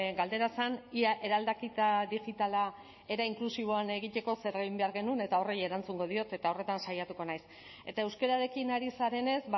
galdera zen ia eraldaketa digitala era inklusiboan egiteko zer egin behar genuen eta horri erantzungo diot eta horretan saiatuko naiz eta euskararekin ari zarenez